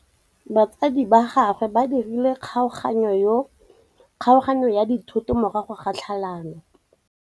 Batsadi ba gagwe ba dirile kgaoganyô ya dithoto morago ga tlhalanô.